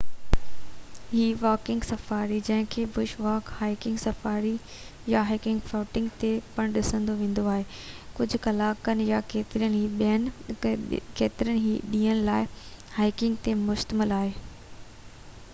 هڪ walking safari جنهن کي بش واڪ"، هائيڪنگ سفاري"، يا گوئنگ فوٽنگ پڻ سڏيو ويندو آهي ڪجهه ڪلاڪن يا ڪيترن ئي ڏينهن لاءِ، هائيڪنگ تي مشتمل آهي